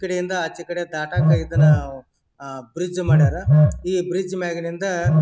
ಕಡೆಯಿಂದ ಆಚೆ ಕಡೆ ದಾಟಾಕ ಇದನ್ನ ಅಹ್ ಬ್ರಿಡ್ಜ್ ಮಾಡರ್. ಈ ಬ್ರಿಡ್ಜ್ ಮ್ಯಾಗ್ ನಿಂದ--